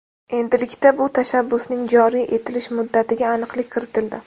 Endilikda bu tashabbusning joriy etilish muddatiga aniqlik kiritildi.